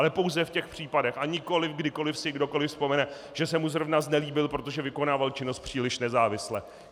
Ale pouze v těch případech, a nikoliv kdykoliv si kdokoliv vzpomene, že se mu zrovna znelíbil, protože vykonával činnost příliš nezávisle.